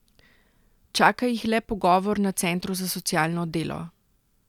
Čaka jih le pogovor na centru za socialno delo.